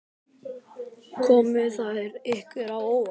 Komu þær ykkur á óvart?